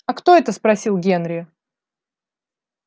а кто это спросил генри